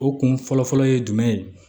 O kun fɔlɔ fɔlɔ ye jumɛn ye